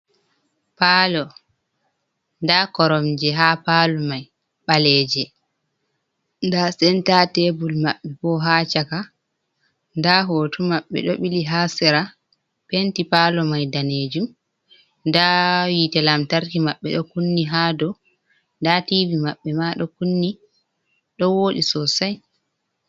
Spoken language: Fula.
Pal, nda koromje ha palo mai ɓaleje, nda senta tebul maɓɓe bo ha chaka. Nda hoto maɓɓe do ɓili ha sera. Penti palo mai danejum nda hite lamtarki maɓɓe ɗo kunni ha dau. Nda tivi maɓɓe ma do kunni, ɗo woɗi sosai.